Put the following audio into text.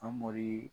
Famori